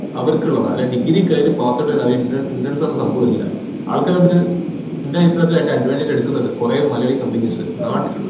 അവരിക്കുള്ളതാ അല്ലാതെ degree കഴിഞ്ഞ passout ആയി interns പറഞ്ഞ സംഭവമില്ല അവരിക്ക് അതിന്റ ഇന്റെ അഭിപ്രായത്തിൽ അയിന്റെ advantages എടുക്കുന്നത് കൊറേ മലയാളി companies ആ നാട്ടിൽ